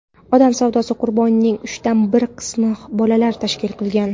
odam savdosi qurbonlarining uchdan bir qismini bolalar tashkil qilgan.